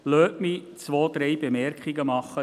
Lassen Sie mich zwei, drei Bemerkungen machen.